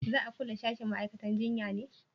za a kulle sashin ma'aikatan jinya ne?